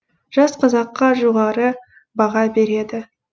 жас қазаққа жоғары баға береді